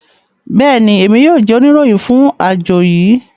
bẹẹni, Emi yoo jẹ onirohin fun ajo yii